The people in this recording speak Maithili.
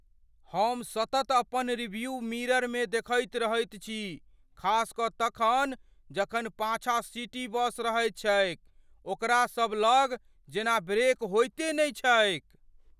हम सतत अपन रियरव्यू मिररमे देखैत रहैत छी, खास कऽ तखन जखन पाछाँ सिटी बस रहैत छैक। ओकरा सबलग जेना ब्रेक होइते नहि छैक।